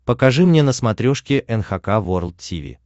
покажи мне на смотрешке эн эйч кей волд ти ви